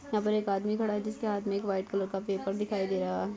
यहाँ पे एक आदमी खड़ा हैं जिसके हाथ मे एक व्हाइट कलर का पेपर दिखाई दे रहा है।